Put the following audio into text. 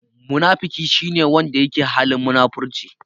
Munafiki shi ne wanda yake halin munafurci.